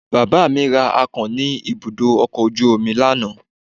Bàbá mi ra akàn ní ibùdó ọkọ̀ ojú omi lánàá.